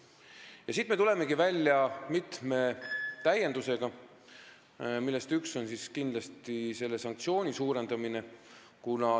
Ja sellepärast me tulemegi välja mitme täiendusega, millest üks on kindlasti sanktsioonide suurendamine.